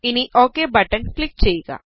ഇനി okay button click ചെയ്യുക